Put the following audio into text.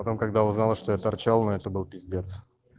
потом когда узнала что я торчал но это был пиздец